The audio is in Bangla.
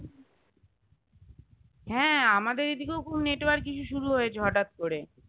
হ্যাঁ আমাদের এদিকেও খুব network issue শুরু হয়েছে হটাৎ করে